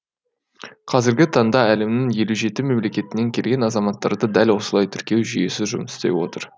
қазіргі таңда әлемнің елу жеті мемлекетінен келген азаматтарды дәл осылай тіркеу жүйесі жұмыс істеп отыр